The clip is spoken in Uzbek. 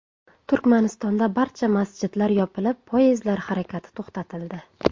Turkmanistonda barcha masjidlar yopilib, poyezdlar harakati to‘xtatildi.